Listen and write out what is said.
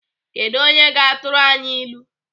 Kedụ onye ga-atụrụ anyị ilu?